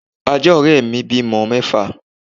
Ajá òré mi bímọ mẹ́fà